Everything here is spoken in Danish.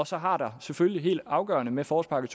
så har der selvfølgelig og afgørende med forårspakke